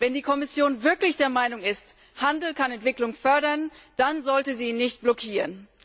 Wenn die Kommission wirklich der Meinung ist, Handel kann Entwicklung fördern, dann sollte sie ihn nicht blockieren.